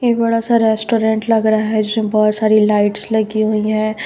एक बड़ा सा रेस्टुरेंट लग रहा है जिसमें बहोत सारी लाइट्स लगी हुई है।